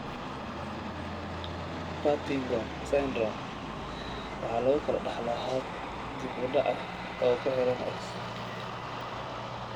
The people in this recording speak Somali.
Partington syndrome waxa lagu kala dhaxlaa hab dib u dhac ah oo ku xidhan X.